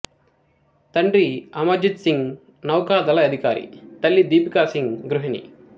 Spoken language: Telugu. తండ్రి అమర్జిత్ సింగ్ నౌకాదళ అధికారి తల్లి దీపికా సింగ్ గృహిణి